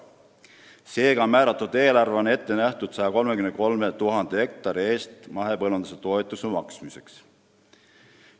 Seega on määratud eelarve nähtud ette mahepõllumajanduse toetuste maksmiseks 133 000 hektari eest.